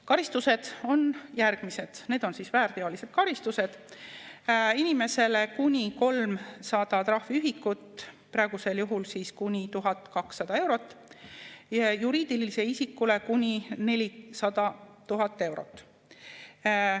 Karistused on järgmised, need on väärteolised karistused: inimesele kuni 300 trahviühikut – praegusel juhul kuni 1200 eurot – ja juriidilisele isikule kuni 400 000 eurot.